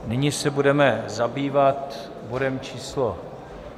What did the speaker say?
Nyní se budeme zabývat bodem číslo